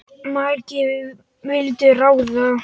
Of margir vildu ráða.